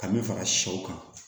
Ka min fara sɛw kan